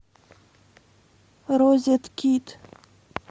розеткит